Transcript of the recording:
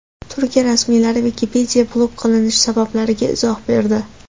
Turkiya rasmiylari Wikipedia blok qilinishi sabablariga izoh berdi.